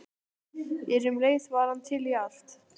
En um leið var hann til í allt.